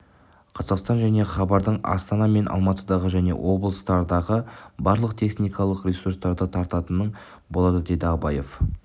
қазақстан және хабардың астана мен алматыдағы және облыстардағы барлық техникалық ресурстары тартылатын болады деді абаев